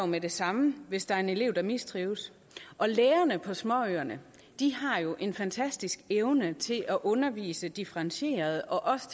med det samme hvis der er en elev der mistrives og lærerne på småøerne har jo en fantastisk evne til at undervise differentieret og også